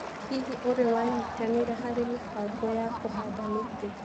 Hihi, ũrĩ wanyitanĩra harĩ mĩbango ya kũhanda mĩtĩ?